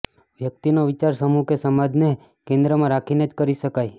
વ્યક્તિનો વિચાર સમૂહ કે સમાજને કેન્દ્રમાં રાખીને જ કરી શકાય